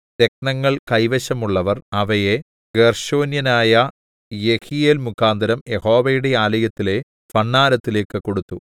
രത്നങ്ങൾ കൈവശമുള്ളവർ അവയെ ഗേർശോന്യനായ യെഹീയേൽമുഖാന്തരം യഹോവയുടെ ആലയത്തിലെ ഭണ്ഡാരത്തിലേക്കു കൊടുത്തു